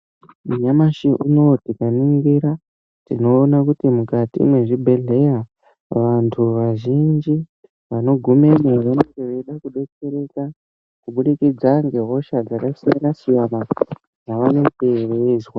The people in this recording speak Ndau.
Nyamashi unou tikaningira tionoka kuti mukati mezvibhedhleya vantu vazvinji vanogumemwo vanenge veida kudetsereka kubudikidza ngehosha dzakasiyana siyana dzavanenge veizwa.